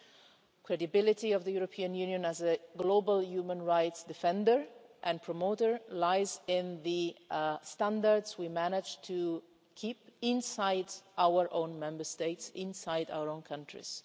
The credibility of the European Union as a global human rights defender and promoter lies in the standards we manage to keep inside our own Member States and inside our own countries.